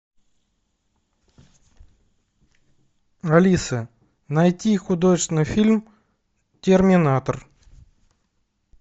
алиса найти художественный фильм терминатор